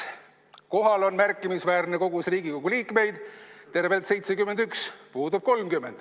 "Kohal on märkimisväärne kogus Riigikogu liikmeid, tervelt 71, puudub 30.